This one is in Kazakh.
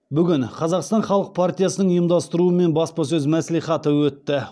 бүгін қазақстан халық партиясының ұйымдастыруымен баспасөз мәслихаты өтті